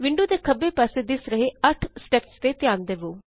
window ਦੇ ਖੱਬੇ ਪਾਸੇ ਦਿਸ ਰਹੇ 8 ਸਟੈੱਪਸ ਤੇ ਧਿਆਨ ਦੇਵੋ